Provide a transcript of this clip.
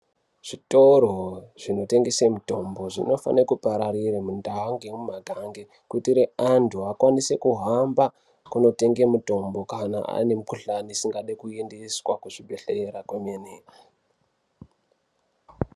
Zvitoro zvinotengese mutombo zvinofane kupararira mundau ngemumagange kuitire antu akwanise kuhamba konotenge mitombo kana ane mikuhlani isingadi kuendeswa kuzvibhehlera kwemene.